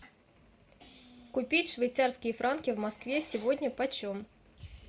купить швейцарские франки в москве сегодня по чем